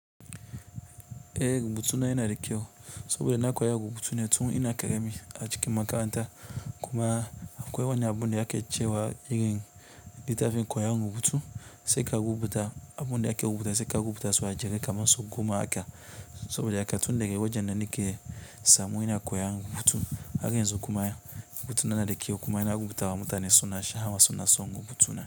Eh rubutu na yana da kyau soboda nakoya rubutu ne tun ina ƙarami acikin makaranta, kuma akwai wani abu da ake cewa irin littafin koyon rubutu, sai ka rubuta abun da ake rubuta sai ka rubuta shi ajere. Kamar sau goma haka, saboda haka tun daga wajen nan nake samu ina koyon rubutun, har yanzu kuma rubutu na yana da kyau, kuma na rubutawa mutane su na, suna sha'awar rubutu na.